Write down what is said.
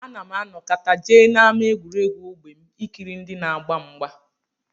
Ana m anọkata jee n'ámá egwuregwu ógbè m ikiri ndị na-agba mgba